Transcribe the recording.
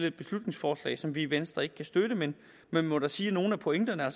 et beslutningsforslag som vi i venstre ikke kan støtte men man må da sige at nogle af pointerne er